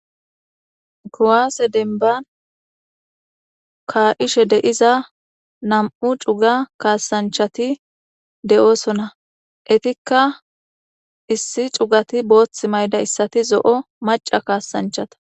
Kuwasse dembban kaishe deiiza nam'u cuuga kassanchati de'ossona eetikka issi cuugati booththi mayidayssati zo'o macca kassanchata.